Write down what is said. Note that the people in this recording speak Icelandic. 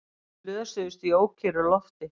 Slösuðust í ókyrru lofti